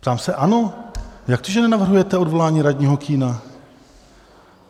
Ptám se ANO: Jak to, že nenavrhujete odvolání radního Kühna?